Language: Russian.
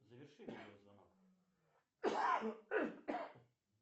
заверши видеозвонок